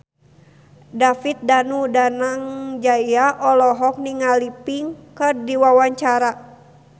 David Danu Danangjaya olohok ningali Pink keur diwawancara